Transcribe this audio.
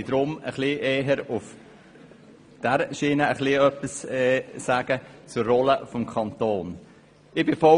Ich möchte deshalb eher etwas zur Rolle des Kantons sagen.